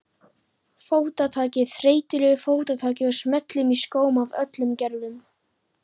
Fótataki, þreytulegu fótataki og smellum í skóm af öllum gerðum.